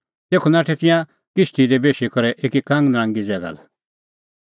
तेखअ नाठै तिंयां किश्ती दी बेशी करै एकी कांगनरांगी ज़ैगा लै